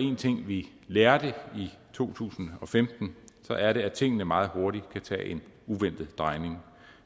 en ting vi lærte i to tusind og femten er det at tingene meget hurtigt kan tage en uventet drejning